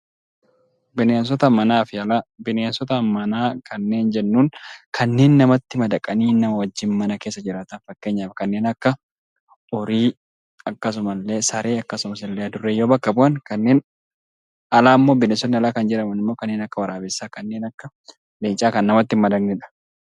Bineensota manaa fi alaa. Bineensota manaa warreen jedhaman kanneen namatti madaqanii nama waliin mana keessa jiraataniidha. Fakkeenyaaf kanneen akka horii, Saree fi Adurree yoo bakka bu'an bineensotni alaa immoo kanneen akka Waraabessaa fi Leencaa kan namatti hin madaqneedha.